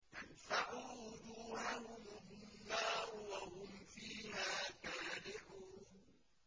تَلْفَحُ وُجُوهَهُمُ النَّارُ وَهُمْ فِيهَا كَالِحُونَ